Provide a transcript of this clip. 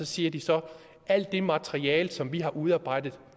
siger de så alt det materiale som vi har udarbejdet